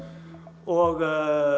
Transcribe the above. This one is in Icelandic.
og